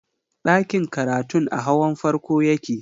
Ɗakin karatun a hawan farko yake